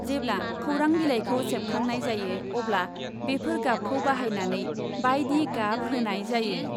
जेब्ला खौरां बिलाइखौ सेबखांनाय जायो अब्ला बेफोर गाबखौ बाहायनानै बायदि गाब होनाय जायो ।